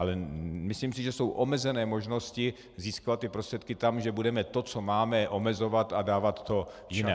Ale myslím si, že jsou omezené možnosti získávat ty prostředky tam, že budeme to, co máme, omezovat a dávat to jinam.